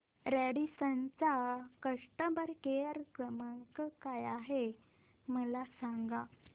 Radisson चा customer care क्रमांक काय आहे मला सांगा